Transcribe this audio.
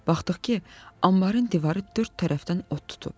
Baxdıq ki, ambarın divarı dörd tərəfdən od tutub.